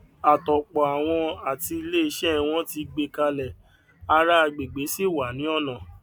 àtòpọàwọn àti ilé iṣẹ wọn tì gbé kalẹ ará agbègbè sì wà ní ọnà